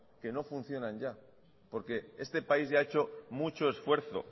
que no funcionan ya porque este país ya ha hecho mucho esfuerzo